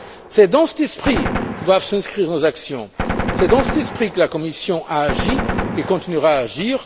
C'est dans cet esprit que doivent s'inscrire nos actions, c'est dans cet esprit que la Commission a agi et continuera à agir.